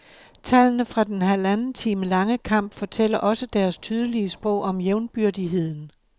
Tallene fra den halvanden time lange kamp fortæller også deres tydelig sprog om jævnbyrdigheden.